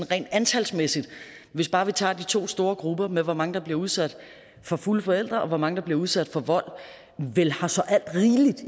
rent antalsmæssigt hvis bare vi tager de to store grupper med de mange der bliver udsat for fulde forældre og de mange der bliver udsat for vold vel har så alt rigeligt